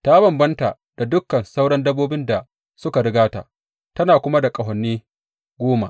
Ta bambanta da dukan sauran dabbobin da suka riga ta, tana kuma da ƙahoni goma.